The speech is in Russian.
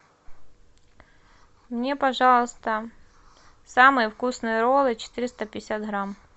мне пожалуйста самые вкусные роллы четыреста пятьдесят грамм